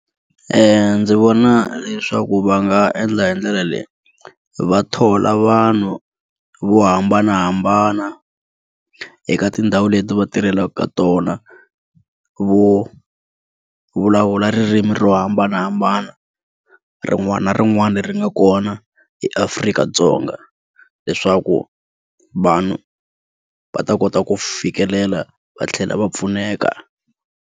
Ndzi vona leswaku va nga endla hi ndlela leyi va thola vanhu vo hambanahambana eka tindhawu leti va tirhelaka ka tona vo vulavula ririmi ro hambanahambana rin'wana na rin'wana leri nga kona eAfrika-Dzonga leswaku vanhu va ta kota ku fikelela va tlhela va pfuneka.